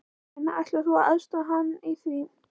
Karen: Ætlar þú að aðstoða hann í því?